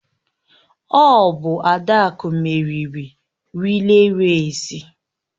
Ọ bụ Adaku meriri rịlè rèsi.